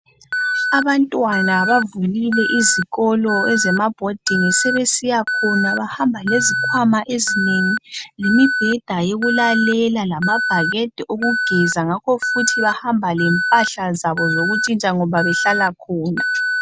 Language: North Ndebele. Abantwana bavulile izikolo ezemabhodini sebesiya khona bahamba lezikhwama ezinengi lemibheda yokulalela lamabhakede okugeza ngakho futhi bahamba lempahla zabo zokuntshintsha ngoba behlala khona.